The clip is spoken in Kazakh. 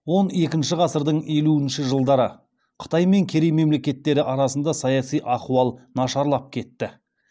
он екінші ғасырдың елуінші жылдары қытай мен керей мемлекеттері арасында саяси ахуал нашарлап кетті